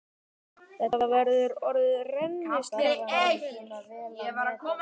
Þetta verður orðið rennislétt bara hvenær?